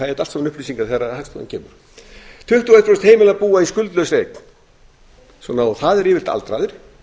þetta allt saman upplýsingar þegar hagstofan kemur tuttugu og eitt prósent heimila búa í skuldlausri eign og það eru yfirleitt aldraðir